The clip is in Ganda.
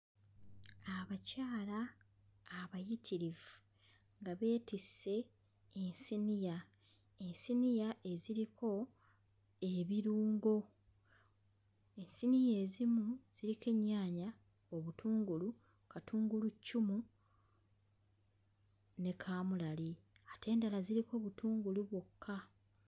Abakyala abayitirivu nga beetisse ensaniya, enseniya eziriko ebirungo, enseniya ezimu ziriko ennyaanya, obutungulu, katunguluccumu, ne kaamulali ate endala ziriko butungulu bwokka.